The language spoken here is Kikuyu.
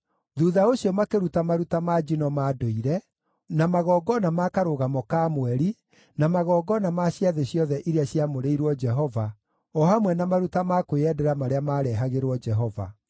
Thuutha ũcio makĩruta maruta ma njino ma ndũire, na magongona ma Karũgamo ka Mweri, na magongona ma ciathĩ ciothe iria ciamũrĩirwo Jehova, o hamwe na maruta ma kwĩyendera marĩa maarehagĩrwo Jehova.